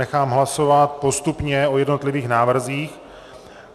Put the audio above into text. Nechám hlasovat postupně o jednotlivých návrzích.